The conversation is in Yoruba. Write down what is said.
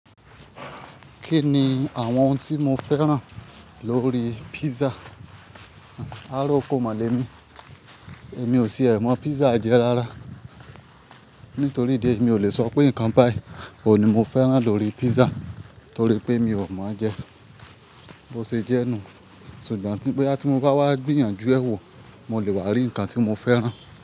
Kí ni àwọn ohun tí mo fẹ́ràn lórí pizza? Áàra okó máa lẹ̀ mí. Èmi ò sì ẹ̀ mọ̀ pizza jẹ rárá. Nítorí idi eyi miò lè sọ pé nǹkan báyi òun ní mo fẹ́ràn lórí pizza torí pé mi ò mọ̀ n jẹ. Bo ṣe jẹ́ nù. Ṣùgbọ́n boya ti mo bá wá gbìyànjú ẹ́ wò, mo lè wà rí ǹkan tí mo fẹ́ràn.